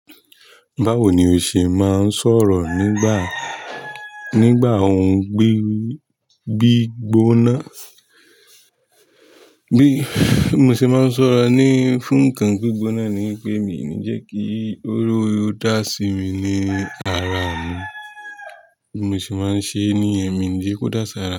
Báwo ni o ṣe máa ń sọ̀rọ̀ nígbà, nígbà ó ń gbi, gbí gbóná? Bí mo ṣe máa ń sọ̀rọ̀ ní fún kan gbígbóná ni irú dasi mi ní ara. Mo sì máa ń ṣe ẹ́ ni ẹ́, mi ò ní jẹ́ kó dá sí ara mi.